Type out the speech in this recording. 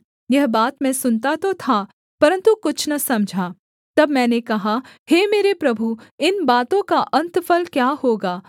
यह बात मैं सुनता तो था परन्तु कुछ न समझा तब मैंने कहा हे मेरे प्रभु इन बातों का अन्तफल क्या होगा